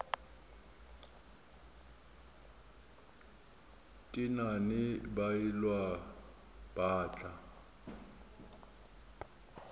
tenane ba elwa ba tla